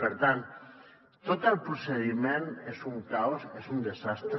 per tant tot el procediment és un caos és un desastre